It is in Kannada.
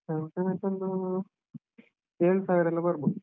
Down payment ಒಂದೂ ಏಳ್ ಸಾವಿರ ಎಲ್ಲಾ ಬರ್ಬೋದು.